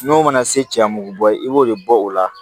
N'o mana se cɛya mugu bɔ i b'o de bɔ o la